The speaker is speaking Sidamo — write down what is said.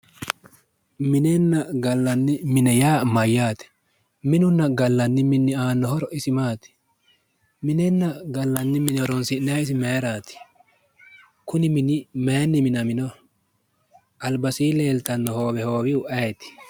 Minenna gallanni mine yaa mayyaate? minunna gallanni mini aanno horo isi maati? Minenna gallanni mine horonsi'nannihu isi mayiraati? Kuni mini mayiinni minaminoho? Albasiinni leeltanno hoowe hoowihu isi ayeeti?